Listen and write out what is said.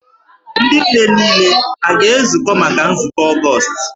Ndị nne niile ha a ga-ezukọ maka nzukọ Ọgọọst?